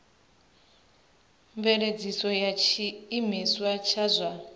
mveledziso ya tshiimiswa tsha zwa